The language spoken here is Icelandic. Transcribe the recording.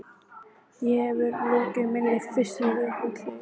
Ég hef lokið minni fyrstu viku í útlegð.